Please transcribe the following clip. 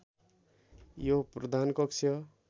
यो प्रधान कक्ष